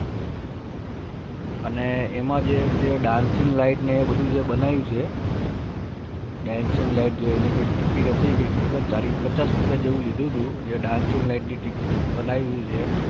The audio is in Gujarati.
અને એમાં જે ને Dancing light બનાયુ છે Dancing light જેને જે ticket નતી કેટલા ચાલીસ પચાસ રૂપિયા લીધું દુ Dancing light જે બનાયી છે